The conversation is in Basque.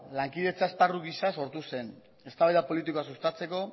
lankidetza esparru gisa sortu zen eztabaida politikoa sustatzeko